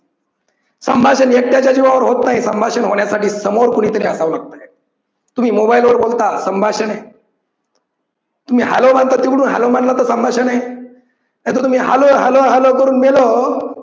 संभाषण एकट्याच्या जीवावर होत नाही संभाषण होण्यासाठी समोर कोणीतरी असावं लागतं. तुम्ही mobile वर बोलता, संभाषण आहे. तुम्ही hello म्हणता तिकडून hello म्हटलं तर संभाषण आहे. नाहीतर तुम्ही hello hello hello करून बोलावं